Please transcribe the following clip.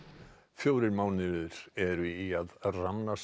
fjórir mánuðir eru í að